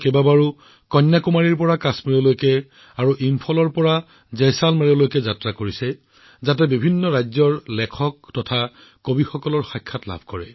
কন্যাকুমাৰীৰ পৰা কাশ্মীৰলৈ আৰু ইম্ফলৰ পৰা জয়ছালমেৰলৈকে দেশৰ বিভিন্ন প্ৰান্ত ভ্ৰমণ কৰি বিভিন্ন ৰাজ্যৰ সাহিত্যিক আৰু কবিসকলৰ সাক্ষাৎকাৰ লৈছিল